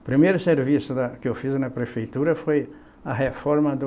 O primeiro serviço da que eu fiz na prefeitura foi a reforma do